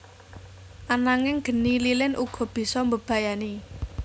Ananging geni lilin uga bisa mbebayani